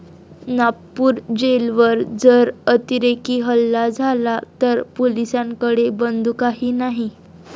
नागपूर जेलवर जर अतिरेकी हल्ला झाला तर पोलिसांकडे बंदुकाही नाही'